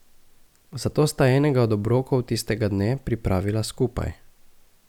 Zato sta enega od obrokov tistega dne pripravila skupaj.